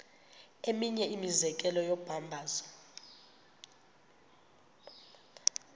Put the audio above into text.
eminye imizekelo yombabazo